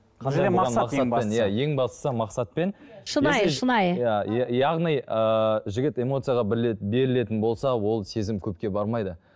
иә ең бастысы мақсат пен шынайы шынайы иә яғни ы жігіт эмоцияға бір рет берілетін болса ол сезім көпке бармайды